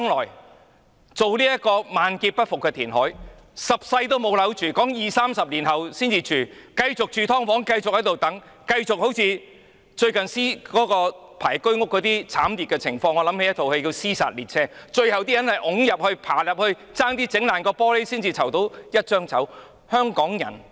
一旦進行這個萬劫不復的填海工程，市民等十世也沒有樓住，要二三十年後才可以入住，其間要繼續住"劏房"，繼續等待，繼續經歷輪候居屋的慘烈情況——這令我想起電影"屍殺列車"；可能要擠入去、爬入去，差點打破玻璃才拿到一張籌。